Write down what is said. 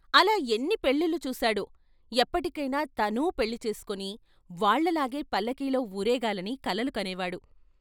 అలా ఎన్ని పెళ్ళిళ్ళు చూశాడో ఎక్పటికైనా తనూ పెళ్ళి చేసుకుని వాళ్ళలాగే పల్లకీలో వూరేగాలని కలలు కనేవాడు.